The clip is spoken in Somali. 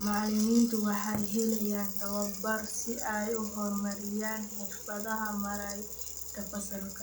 Macallimiintu waxay helayaan tababar si ay u horumariyaan xirfadaha maaraynta fasalka.